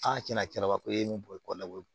tiɲɛna cɛba fɔ e ni kɔɔna ko